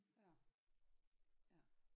Ja ja